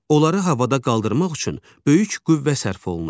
Onları havada qaldırmaq üçün böyük qüvvə sərf olunur.